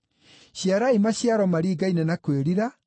Ciarai maciaro maringaine na kwĩrira.